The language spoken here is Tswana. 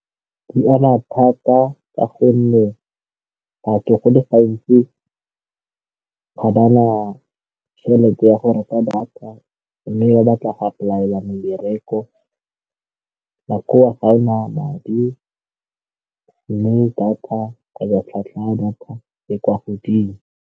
Di ama thata ka gonne batho go le gantsi ga ba na tšhelete ya go reka data mme ba batla ga apolaela mebereko ga e na madi mme data ke batla tlhwatlhwa ya data e kwa godimo.